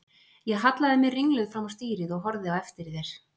Ég hallaði mér ringluð fram á stýrið og horfði á eftir þér.